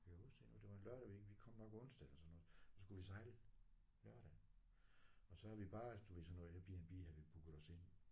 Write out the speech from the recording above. Jeg kan huske det endnu det var en lørdag vi vi kom nok onsdag eller sådan noget og så skulle vi sejle lørdag og så havde vi bare du ved sådan noget Airbnb havde vi booket os ind